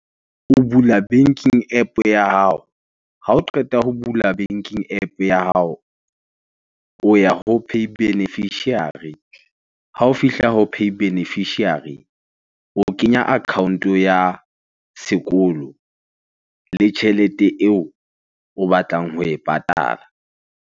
O bula banking App ya hao. Ha o qeta ho bula banking App ya hao, o ya ho pay beneficiary. Ha o fihla ho pay beneficiary, o kenya account-o ya sekolo le tjhelete eo o batlang ho e patala.